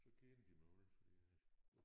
Så kendte de mig alle fordi at